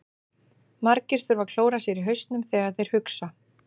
Margir þurfa að klóra sér í hausnum þegar þeir hugsa.